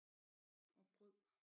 Og brød